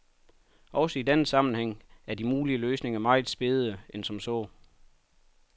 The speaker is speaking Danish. Også i denne sammenhæng er de mulige løsninger mere spegede end som så.